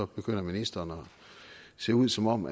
begynder ministeren at se ud som om